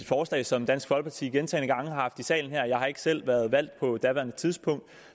forslag som dansk folkeparti gentagne gange har haft i salen her jeg har ikke selv været valgt på daværende tidspunkt